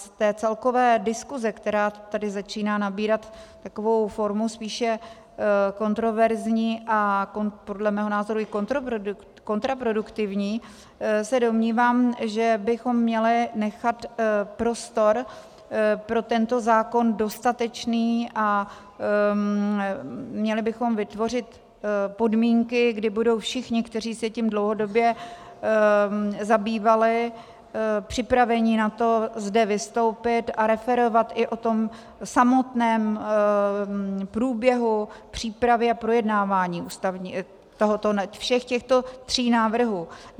Z té celkové diskuse, která tady začíná nabírat takovou formu spíše kontroverzní a podle mého názoru i kontraproduktivní, se domnívám, že bychom měli nechat prostor pro tento zákon dostatečný a měli bychom vytvořit podmínky, kdy budou všichni, kteří se tím dlouhodobě zabývali, připraveni na to zde vystoupit a referovat i o tom samotném průběhu přípravy a projednávání všech těchto tří návrhů.